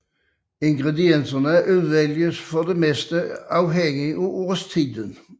Ingredienserne udvælges for det meste afhængig af årstiden